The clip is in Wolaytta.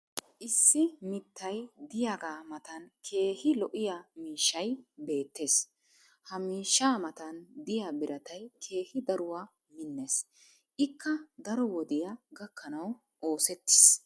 issi mittay diyaagaa matan keehi lo'iya miishshay beetees. ha miishshaa matan diya biratay keehi daruwaa minees. ikka daro wodiyaa gakkanawu oosettiis.